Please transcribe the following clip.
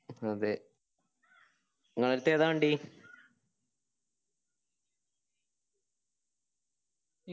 അതെ നിങ്ങളേടത്ത് ഏതാ വണ്ടി